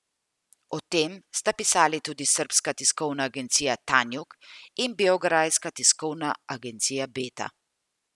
O tem sta pisali tudi srbska tiskovna agencija Tanjug in beograjska tiskovna agencija Beta.